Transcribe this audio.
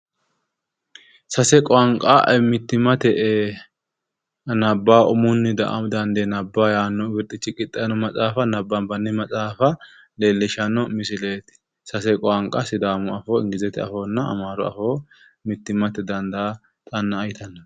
sase qaunqa mittimate umunni dandee nabbawa yaanno maxaafa nabbanbanni maxaafa leellishshanno misileeti sase qaunqa sidaamu afoo, ingilizete afoonna amaaru afoo mittimatenni dandaa xanna'a .